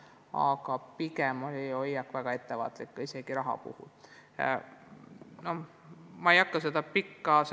Aga pigem on ülikooli hoiak väga ettevaatlik, ka lisaraha saamise korral.